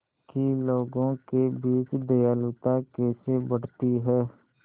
कि लोगों के बीच दयालुता कैसे बढ़ती है